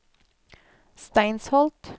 Steinsholt